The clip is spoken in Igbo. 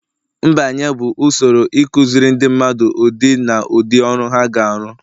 mbanye bụ usoro ịkụziri ndị mmadụ ụdị na ụdị ọrụ ha ga-arụ